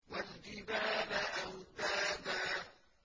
وَالْجِبَالَ أَوْتَادًا